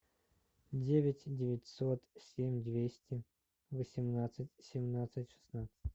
девять девятьсот семь двести восемнадцать семнадцать шестнадцать